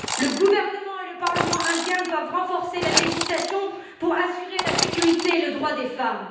Le gouvernement et le Parlement indien doivent renforcer la législation, pour assurer la sécurité et le respect des droits des femmes.